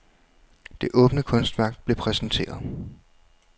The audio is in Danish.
Det åbne kunstværk blev præsenteret.